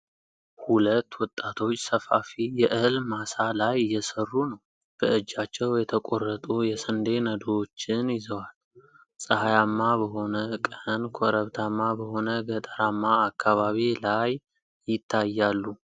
ሁለት ወጣቶች ሰፋፊ የእህል ማሳ ላይ እየሰሩ ነው። በእጃቸው የተቆረጡ የስንዴ ነዶዎችን ይዘዋል። ፀሐያማ በሆነ ቀን ኮረብታማ በሆነ ገጠራማ አካባቢ ላይ ይታያሉ።